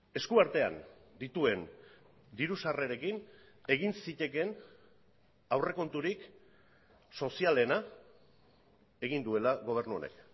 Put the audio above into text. eskuartean dituen diru sarrerekin egin zitekeen aurrekonturik sozialena egin duela gobernu honek